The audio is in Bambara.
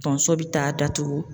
Tonso bi taa datugu